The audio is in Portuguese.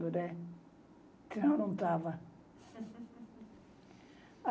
se não, não estava.